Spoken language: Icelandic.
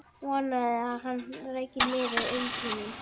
Vonaði að hann ræki nefið inn til mín.